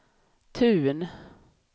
Tun